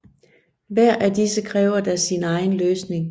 Hver af disse kræver da sin egen løsning